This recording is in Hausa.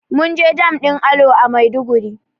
Munje dam ɗin alo a maiduguri